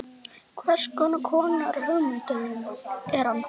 Hvers konar hugmynd er hann?